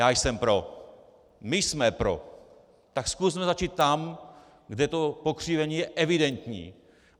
Já jsem pro, my jsme pro, tak zkusme začít tam, kde to pokřivení je evidentní.